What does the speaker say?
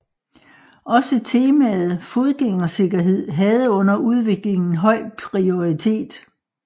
Også temaet fodgængersikkerhed havde under udviklingen høj prioritet